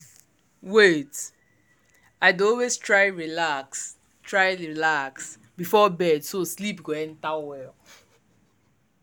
wait- i dey always try relax try relax before bed so sleep go enter well.